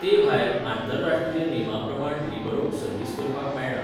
ते भायर, आंतरराष्ट्रीय नेमां प्रमाण लिबरोक सर्व्हिस करपाक मेळना.